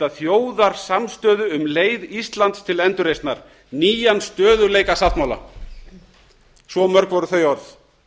þjóðarsamstöðu um leið íslands til endurreisnar nýjan stöðugleikasáttmála svo mörg voru þau orð